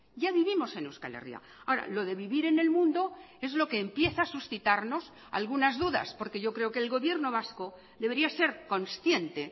ya vivimos en euskal herria ahora lo de vivir en el mundo es lo que empieza a suscitarnos algunas dudas porque yo creo que el gobierno vasco debería ser consciente